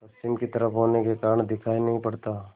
पश्चिम की तरफ होने के कारण दिखाई नहीं पड़ता